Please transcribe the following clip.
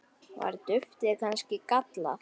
Var duftið kannski gallað?